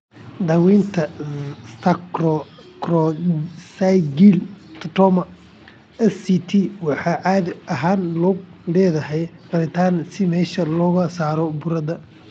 Daawaynta sacrococcygeal teratoma (SCT) waxay caadi ahaan ku lug leedahay qalitaan si meesha looga saaro burada.